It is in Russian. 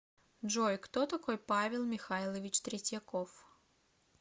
джой кто такой павел михайлович третьяков